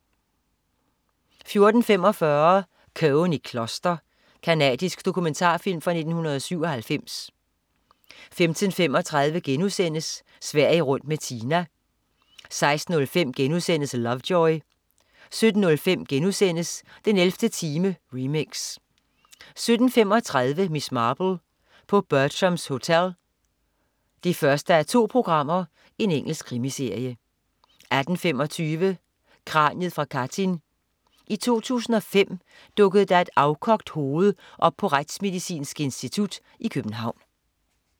14.45 Cohen i kloster. Canadisk dokumentarfilm fra 1997 15.35 Sverige rundt med Tina* 16.05 Lovejoy* 17.05 den 11. time, remix* 17.35 Miss Marple: På Bertrams Hotel 1:2. Engelsk krimiserie 18.25 Kraniet fra Katyn. I 2005 dukkede der et afkogt hoved op på Retsmedicinsk Institut i København